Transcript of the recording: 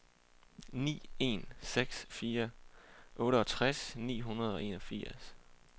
ni en seks fire otteogtres ni hundrede og enogfirs